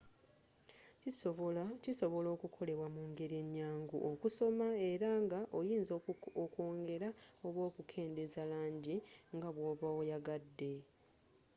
kisobola okukolebwa mu ngeri enyangu okusoma era nga oyinza okwongela oba okukendeeza langi nga bwoba oyagadde